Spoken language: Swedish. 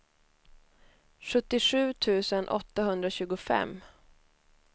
sjuttiosju tusen åttahundratjugofem